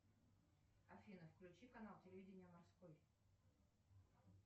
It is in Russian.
афина включи канал телевидения морской